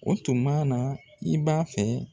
O tuma na i b'a fɛ